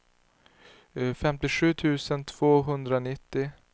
femtiosju tusen tvåhundranittio